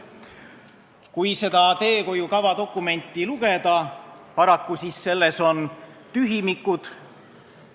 Kui seda teehoiukava dokumenti lugeda, siis näeme, et paraku on selles tühimikud.